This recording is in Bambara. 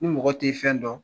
Ni mɔgɔ t ti fɛn dɔn